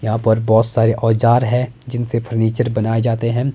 यहां पर बोहत सारे औजार है जिनसे फर्नीचर बनाए जाते हैं।